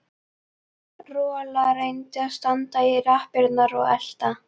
Rola reyndi að standa í lappirnar og elta